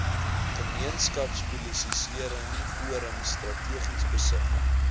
gemeenskapspolisieringsforums strategies besig